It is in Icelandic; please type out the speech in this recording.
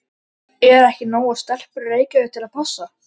Eru ekki nógar stelpur í Reykjavík til að passa?